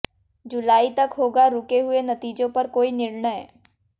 जुलाई तक होगा रुके हुए नतीजों पर कोई निर्णय